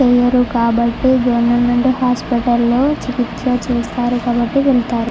కాబట్టి government hospital లోని చికిత్స చేస్తారు. కాబట్టి--